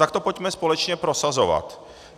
Tak to pojďme společně prosazovat.